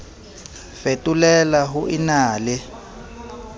fetolela ho e na le